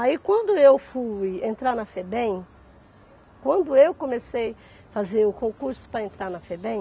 Aí quando eu fui entrar na Febem, quando eu comecei fazer o concurso para entrar na Febem,